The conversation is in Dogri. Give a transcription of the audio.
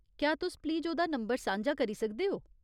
क्या तुस प्लीज ओह्दा नंबर सांझा करी सकदे ओ ?